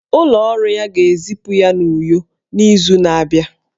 Ụlọ ọrụ ha ga-ezipụ ha n'Uyo n'izu na-abịa